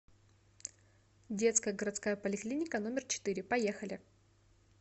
детская городская поликлиника номер четыре поехали